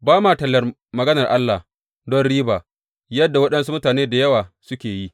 Ba ma tallar maganar Allah don riba yadda waɗansu mutane da yawa suke yi.